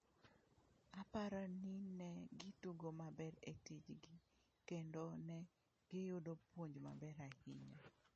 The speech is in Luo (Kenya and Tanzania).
Aparo ni ne gitugo maber e tichgi kendo ne giyudo puonj maber ahinya."